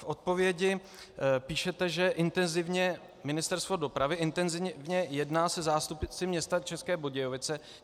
V odpovědi píšete, že Ministerstvo dopravy intenzivně jedná se zástupci města České Budějovice.